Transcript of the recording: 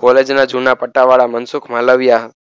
college ના જુના પટ્ટા વાળા મનસુખ માલવિયા